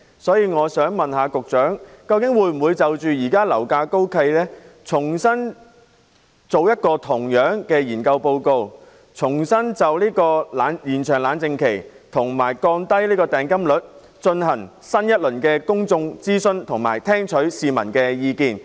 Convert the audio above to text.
所以，我想問局長，當局會否因應現時樓價高企，重新進行同類的研究，就延長"冷靜期"及降低訂金率進行新一輪公眾諮詢，以聽取市民的意見。